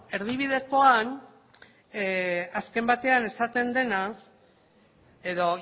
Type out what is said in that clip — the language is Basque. erdibidekoan azken batean esaten dena edo